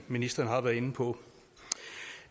ministeren har været inde på